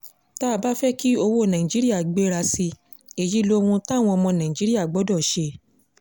tá a bá fẹ́ kí owó náírà gbéra sí i èyí lohun táwọn ọmọ nàìjíríà gbọ́dọ̀ ṣe